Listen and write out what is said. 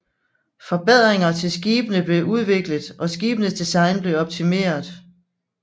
Forbedringer til skibene blev udviklet og skibenes design blev optimeret